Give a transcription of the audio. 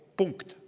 " Punkt.